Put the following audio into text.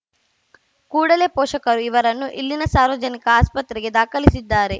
ಕೂಡಲೇ ಪೋಷಕರು ಇವರನ್ನು ಇಲ್ಲಿನ ಸಾರ್ವಜನಿಕ ಆಸ್ಪತ್ರೆಗೆ ದಾಖಲಿಸಿದ್ದಾರೆ